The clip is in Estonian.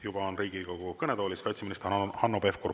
Juba on Riigikogu kõnetoolis kaitseminister Hanno Pevkur.